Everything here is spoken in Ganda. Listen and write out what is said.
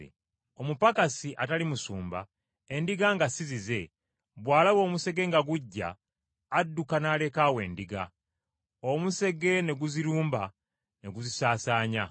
Omupakasi, atali musumba, endiga nga si zize, bw’alaba omusege nga gujja adduka n’aleka awo endiga, omusege ne guzirumba ne guzisaasaanya.